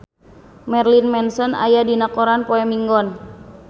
Marilyn Manson aya dina koran poe Minggon